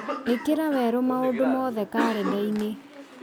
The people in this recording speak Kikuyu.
ĩkĩra werũ maũndũ mothe karenda-inĩ